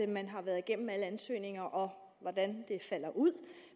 man har været igennem alle ansøgninger og hvordan det falder ud